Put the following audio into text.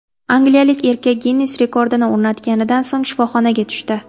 Angliyalik erkak Ginnes rekordini o‘rnatganidan so‘ng shifoxonaga tushdi.